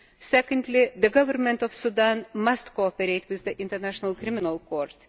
Secondly, the Government of Sudan must cooperate with the International Criminal Court.